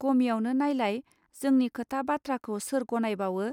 गमियावनो नायलाय जोंनि खोथा बाथ्राखौ सोर गनायबावो